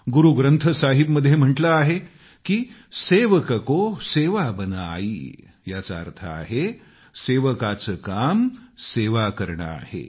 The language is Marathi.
गुरूग्रन्थ साहिबमध्ये म्हटले आहे की सेवक को सेवा बन आइ याचा अर्थ आहे सेवकाचे काम सेवा करणं आहे